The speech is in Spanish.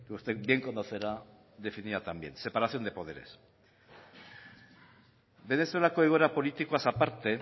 usted bien conocerá definida tan bien separación de poderes venezuelako egoera politikoaz aparte